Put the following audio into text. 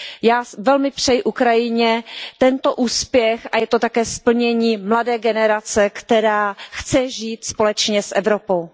Já velmi přeji Ukrajině tento úspěch a je to také splnění přání mladé generace, která chce žít společně s Evropou.